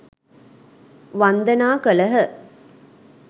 වන්දනා කළහ